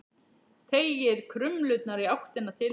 Teygir krumlurnar í áttina til hennar.